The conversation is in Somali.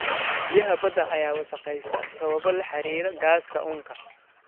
Biyaha badda ayaa wasakhaysta sababo la xiriira gaaska uunka.